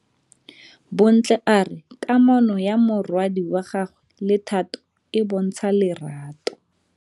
Bontle a re kamanô ya morwadi wa gagwe le Thato e bontsha lerato.